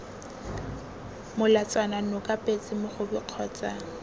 molatswana noka petse mogobe kgotsa